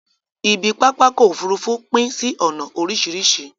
Ibi pápákọ̀ ofúrufú pín sí ònà oríṣìríṣi